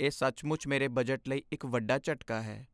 ਇਹ ਸੱਚਮੁੱਚ ਮੇਰੇ ਬਜਟ ਲਈ ਇੱਕ ਵੱਡਾ ਝਟਕਾ ਹੈ।